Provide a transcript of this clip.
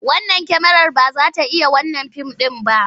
Wannan kyamarar ba za ta iya wannan fim ɗin ba.